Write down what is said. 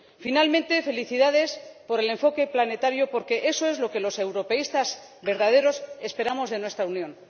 Finalmente, felicidades por el enfoque planetario, porque eso es lo que los europeístas verdaderos esperamos de nuestra Unión.